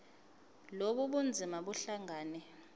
lobu bunzima buhlangane